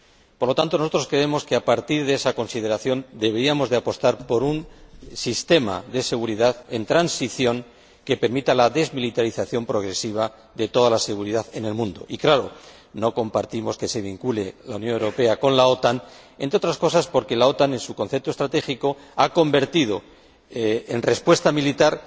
Por lo tanto, nosotros creemos que, a partir de esa consideración, deberíamos apostar por un sistema de seguridad en transición que permita la desmilitarización progresiva de toda la seguridad en el mundo y, claro, no compartimos que se vincule a la Unión Europea con la OTAN, entre otras cosas porque la OTAN, en su concepto estratégico, ha optado por dar respuesta militar